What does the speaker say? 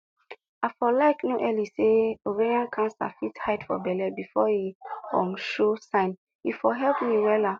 i for like no early say ovarian cancer fit hide for belle befor e um show sign e for help me wella